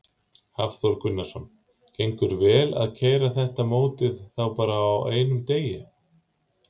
Hafþór Gunnarsson: Gengur vel að keyra þetta mótið þá bara á einum degi?